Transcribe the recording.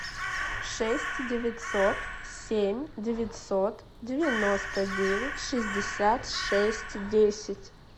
шесть девятьсот семь девятьсот девяносто девять шестьдесят шесть десять